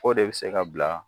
O de bɛ se ka bila